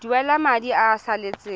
duela madi a a salatseng